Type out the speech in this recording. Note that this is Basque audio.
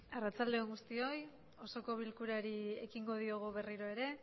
arratsalde on guztioi osoko bilkurari ekingo diogu berriro ere